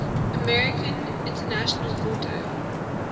american international auto